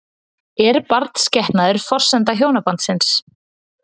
Er barnsgetnaður forsenda hjónabandsins?